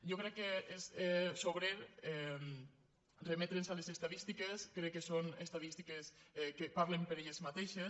jo crec que és sobrer remetre’ns a les estadístiques crec que són estadístiques que parlen per elles matei·xes